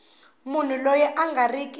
munhu loyi a nga riki